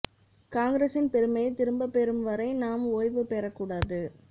காங்கிரசின் பெருமையை திரும்பப் பெறும் வரை நாம் ஓய்வு பெறக் கூடாது